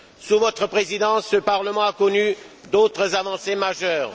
Sous votre présidence, ce Parlement a connu d'autres avancées majeures.